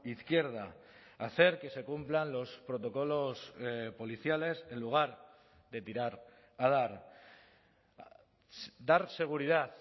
izquierda hacer que se cumplan los protocolos policiales en lugar de tirar a dar dar seguridad